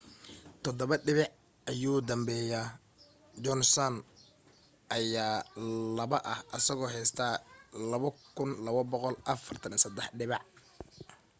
todabo dhibic ayuu dambeyaa johnson ayaa laba ah asagoo haysta 2,243 dhibac